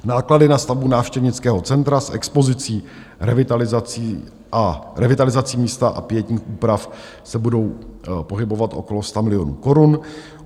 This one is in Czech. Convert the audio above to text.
Náklady na stavbu návštěvnického centra s expozicí, revitalizací místa a pietních úprav se budou pohybovat okolo 100 milionů korun.